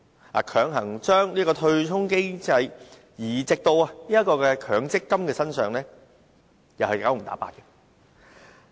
當局強行將對沖制度移植到強積金制度，又是"九唔搭八"。